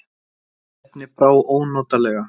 Erni brá ónotalega.